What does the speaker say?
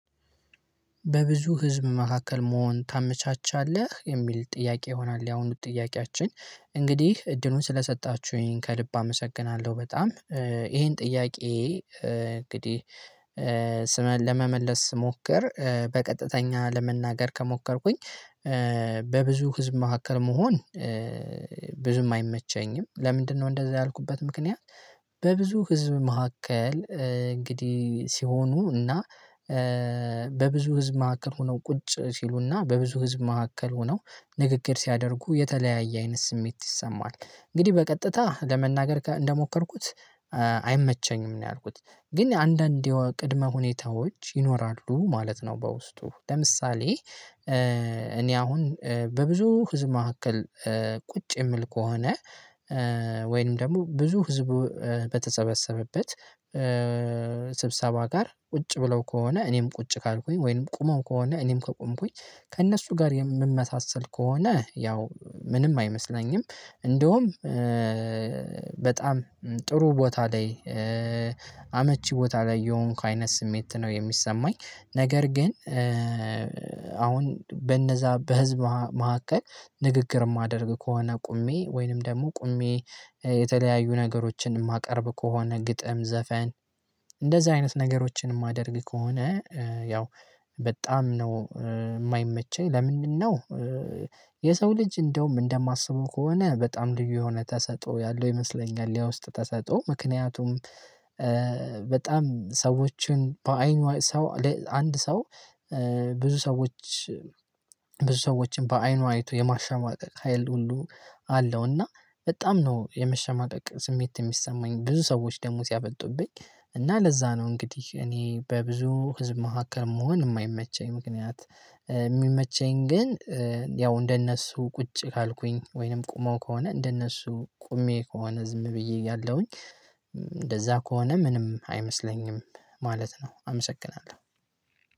በብዙ ህዝብ መካከል መሆን ታመቻቻለህ የሚል ጥያቄ ይሆናል ያሁኑ ጥያቄያችን እንግዲህ እድሉን ስለሰጣችሁኝ ከልብ አመሰግናለሁ። በጣም ይሄን ጥያቄ እንግዲህ ስመን ለመመለስ ስሞክር በቀጥተኛ ለመናገር ከሞከርኩኝ። በብዙ ህዝብ መካከል መሆን ብዙም አይመቸኝም ለምንድነው እንደዛ ያልኩበት ምክንያት። በብዙ ህዝብ መካከል እንግዲህ ሲሆኑ እና በብዙ ህዝብ መካከል ሆነው ቁጭ ሲሉና በብዙ ህዝብ መካከል ሆነው ንግግር ሲያደርጉ የተለያየ አይነት ስሜት ይሰማል እንግዲህ በቀጥታ ለመናገር እንደሞከርኩት። አይመቸኝም ነው ያልኩት ግን አንዳንዴ ቅድመ ሁኔታዎች ይኖራሉ ማለት ነው። በውስጡ ለምሳሌ እኔ አሁን በብዙ ህዝብ መካከል ቁጭ የምል ከሆነ። ወይንም ደግሞ ብዙ ህዝብ በተሰበሰበበት ስብሰባ ጋር ቁጭ ብለው ከሆነ እኔም ቁጭ ካልኩኝ ወይንም ቁመው ከሆነ እኔም ከቆምኩኝ ከእነሱ ጋር የምመሳሰል ከሆነ ያው ምንም አይመስለኝም። እንደውም በጣም ጥሩ ቦታ ላይ አመቺ ቦታ ላይ የሆንኩ አይነት ስሜት ነው የሚሰማኝ። ነገር ግን አሁን በነዛ በህዝብ መካከል ንግግር የማደርግ ከሆነ ቆሜ ወይንም ደግሞ ቆሜ የተለያዩ ነገሮችን የማቀርብ ከሆነ ግጥም ዘፈን እንደዚህ አይነት ነገሮችን የማደርግ ከሆነ ያው በጣም ነው። የማይመቸኝ ለምንድነው የሰው ልጅ እንደውም እንደማስበው ከሆነ በጣም ልዩ የሆነ ተሰጥኦ ያለው ይመስለኛል የውስጥ ተሰጥኦ ምክንያቱም። በጣም ሰዎችን በአይኑ ሰው አንድ ሰው ብዙ ሰዎች ብዙ ሰዎችን በአይኑ አይቶ የማሸማቀቅ ሀይል ሁሉ አለው። እና በጣም ነው የምሸማቀቅ ስሜት የሚሰማኝ ብዙ ሰዎች ደግሞ ሲያፈጡብኝ እና ለዛ ነው እንግዲህ እኔ በብዙ ህዝብ መካከል መሆን የማይመቸኝ ምክንያት። የሚመቸኝ ግን ያው እንደነሱ ቁጭ ካልኩኝ ወይንም ቆመው ከሆነ እንደነሱ ቆሜ ከሆነ ዝም ብዬ ያለሁኝ እንደዛ ከሆነ ምንም አይመስለኝም። ማለት ነው አመሰግናለሁ።